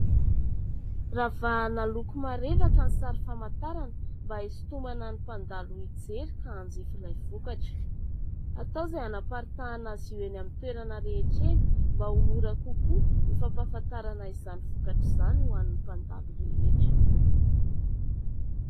Ravahana loko marevaka ny sary famantarana mba isintomana ny mpandalo mijery ka hanjifa ilay vokatra. Atao izay hanaparitahana azy ireny amin'ny toerana rehetra eny mba ho mora kokoa ny fampahafantarana izany vokatra izany ho an'ny mpandalo rehetra.